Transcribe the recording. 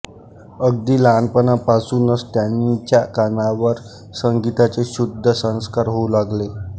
अगदी लहानपणपासूनच त्यांच्या कानावर संगीतचे शुद्ध संस्कार होऊ लागले